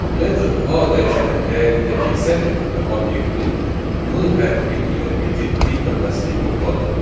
Metod A dəyişənin dəyərindəki sətr tipli obyektin M hərfi ilə bitib bitməməsini yoxladı.